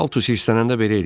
Paltus hissələnəndə belə eləyir.